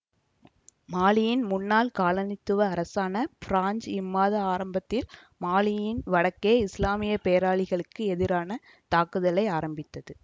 மாலியின் முன்னாள் காலனித்துவ அரசான பிரான்சு இம்மாத ஆரம்பத்தில் மாலியின் வடக்கே இசுலாமிய போராளிகளுக்கு எதிரான தாக்குதல்களை ஆரம்பித்தது